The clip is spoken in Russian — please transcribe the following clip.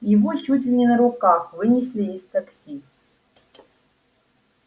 его чуть ли не на руках вынесли из такси